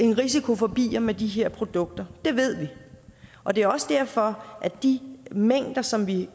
en risiko for bier med de her produkter det ved vi og det er også derfor at de mængder som vi